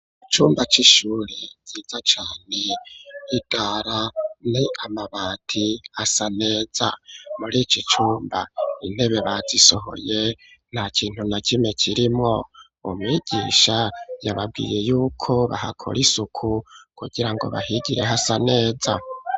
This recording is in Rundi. Icumba c'ishuri ciza cane, idara ni amabati asa neza, muri iki cumba intebe bazisohoye nta kintu na kime kirimwo, umwigisha yababwiye yuko bahakora isuku kugira ngo bahigire hasa neza.